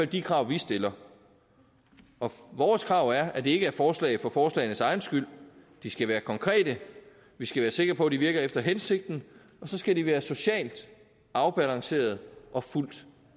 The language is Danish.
de krav vi stiller vores krav er at det ikke er forslag for forslagenes egen skyld de skal være konkrete vi skal være sikre på at de virker efter hensigten og så skal de være socialt afbalancerede og fuldt